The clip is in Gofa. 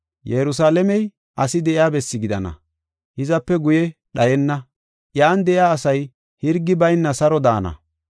Yerusalaamey asi de7iya bessi gidana; hizape guye dhayenna; iyan de7iya asay hirgi bayna saro daana.